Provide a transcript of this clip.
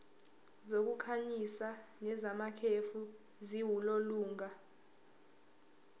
zokukhanyisa nezamakhefu ziwulolonga